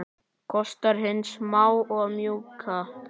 Kostir hins smáa og mjúka